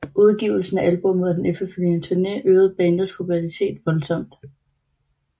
Udgivelsen af albummet og den efterfølgende turné øgede bandets popularitet voldsomt